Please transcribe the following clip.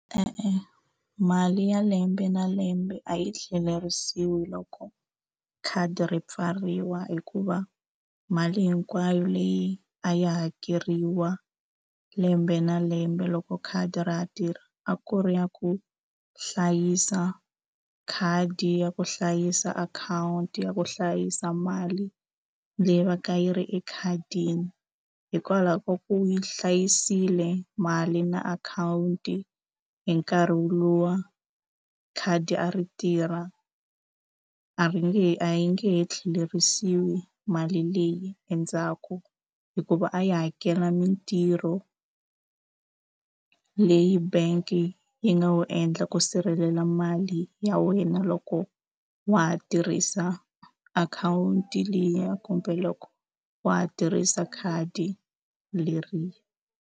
E-e mali ya lembe na lembe a yi tlhelerisiwi loko khadi ri pfariwa hikuva mali hinkwayo leyi a yi hakeriwa lembe na lembe loko khadi ra ha tirhi a ku ri ya ku hlayisa khadi ya ku hlayisa akhawunti ya ku hlayisa mali leyi va ka yi ri ekhadini hikwalaho ka ku yi hlayisile mali na akhawunti hi nkarhi luwa khadi a ri tirha a ri nge a yi nge he tlhelerisiwi mali leyi endzhaku hikuva a yi hakela mitirho leyi bank nga wu endla ku sirhelela mali ya wena loko wa ha tirhisa akhawunti liya kumbe loko wa ha tirhisa khadi leri.